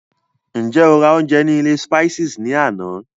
Ṣé o rà oúnjẹ ní ilé Spices ní àná?